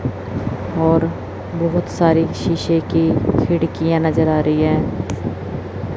और बहुत सारी शीशे की खिड़कियां नजर आ रही हैं।